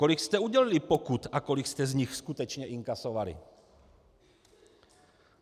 Kolik jste udělili pokut a kolik jste z nich skutečně inkasovali?